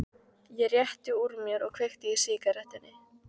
Ég rétti úr mér og kveiki í sígarettunni.